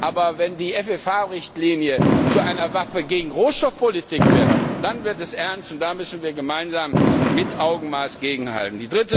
Aber wenn die FFH Richtlinie zu einer Waffe gegen Rohstoffpolitik wird, dann wird es ernst und dann müssen wir gemeinsam mit Augenmaß dagegenhalten.